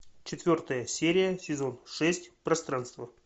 четвертая серия сезон шесть пространство